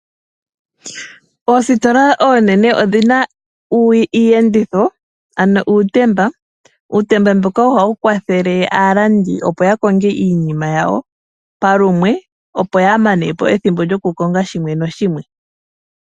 Oositola oonene odhi na iiyenditho, ano uutemba mboka ha wu kwathele aalandi opo ya konge iinima yawo palumwe, opo ya mane po ethimbo lyokukonga shimwe nashimwe.